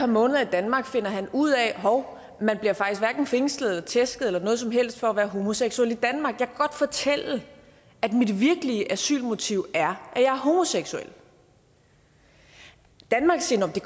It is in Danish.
måneder i danmark finder han ud af hov man bliver faktisk hverken fængslet eller tæsket eller noget som helst for at være homoseksuel i danmark kan godt fortælle at mit virkelige asylmotiv er at er homoseksuel danmark siger det